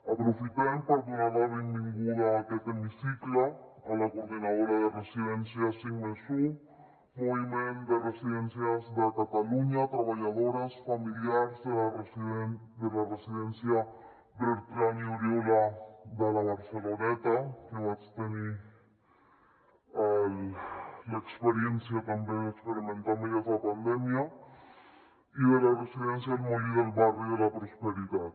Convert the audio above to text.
aprofitem per donar la benvinguda a aquest hemicicle a la coordinadora de residències cinc+un moviment de residències de catalunya treballadores familiars de la residència bertran i oriola de la barceloneta que vaig tenir l’experiència també d’experimentar amb elles la pandèmia i de la residència el molí del barri de la prosperitat